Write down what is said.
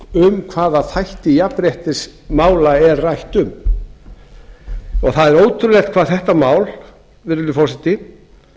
um hvaða þætti jafnréttismála er rætt um það er ótrúlegt hvað þetta mál virðulegi forseti